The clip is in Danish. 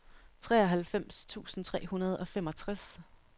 treoghalvfems tusind tre hundrede og femogtres